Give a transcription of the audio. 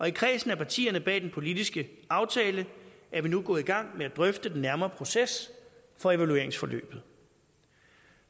i kredsen af partier bag den politiske aftale er vi nu gået i gang med at drøfte den nærmere proces for evalueringsforløbet